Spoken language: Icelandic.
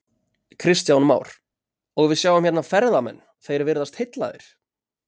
Kristján Már: Og við sjáum hérna ferðamenn, þeir virðast heillaðir?